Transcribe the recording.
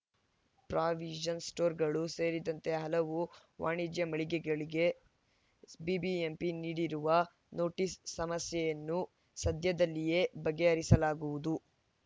provision ಸ್ಟೋರ್‌ಗಳು ಸೇರಿದಂತೆ ಹಲವು ವಾಣಿಜ್ಯ ಮಳಿಗೆಗಳಿಗೆ ಬಿಬಿಎಂಪಿ ನೀಡಿರುವ ನೋಟಿಸ್‌ ಸಮಸ್ಯೆಯನ್ನು ಸದ್ಯದಲ್ಲಿಯೇ ಬಗೆಹರಿಸಲಾಗುವುದು